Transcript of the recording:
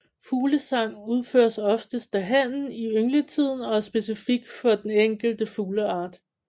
Fuglesang udføres oftest af hannen i yngletiden og er specifik for den enkelte fugleart